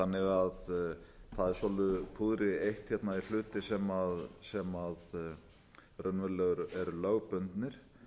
þannig að það er svolitlu púðri eytt hérna í hluti sem raunverulega eru lögbundnir